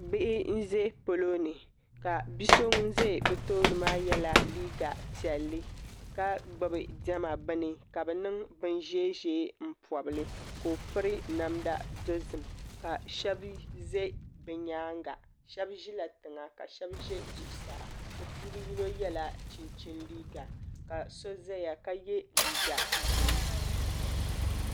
Bihi n ʒɛ polo ni ka bia so ŋun ƶɛ bi tooni maa yɛla liiga piɛlli ka gbubi diɛma bini ka bi niŋ bin ʒiɛ ʒiɛ n pobili ka o piri namda dozim ka shab ʒɛ bi nyaanga shab ʒila tiŋa ka shab ʒɛ zuɣusaa bi puuni yino yɛla chinchini liiga ka so ʒɛya ka yɛ liiga ʒiɛ